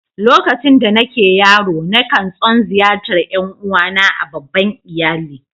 Lokacin da nake yaro, na kan tson ziyartar ’yan uwa na a' babban iyalli.